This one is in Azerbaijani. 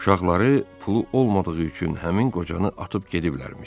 Uşaqları pulu olmadığı üçün həmin qocanı atıb gediblərmiş.